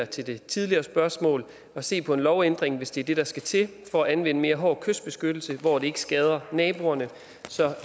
til det tidligere spørgsmål at se på en lovændring hvis det er det der skal til for at anvende mere hård kystbeskyttelse hvor det ikke skader naboerne så